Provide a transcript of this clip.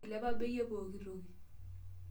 Eilepa bei e pookitoki.